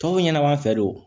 Tɔw ɲɛna an fɛ don